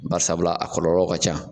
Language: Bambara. Bari sabula a kɔlɔlɔ ka ca.